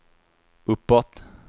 uppåt